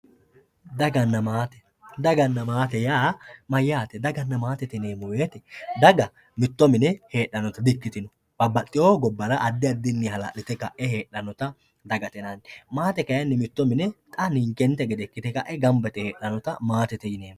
daganna maate, daganna maate yaa mayyaate? daganna maate yineemmo woyte daga mitto mine heedhannota di'ikkitino babbaxxewo gobbara addi addinni hala'lite kae heedhannota dagatte yinanni, maate kayiinni mitto mine xa ninke gede ikkite ka'eenti gamba yite heedhanota maatete yineemmo.